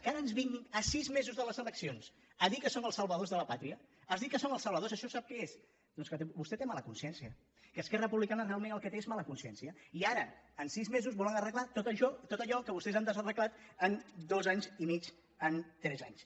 que ara ens vinguin a sis mesos de les eleccions a dir que són els salvadors de la pàtria a dir que són els salvadors això sap què és doncs que vostè té mala consciència que esquerra republicana realment el que té és mala consciència i ara en sis mesos volen arreglar tot allò que vostès han desarreglat en dos anys i mig en tres anys